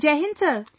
Jai Hind Sir